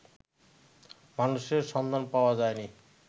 মানুষের সন্ধান পাওয়া যায় নি